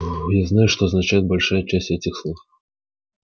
ээ я знаю что означает большая часть этих слов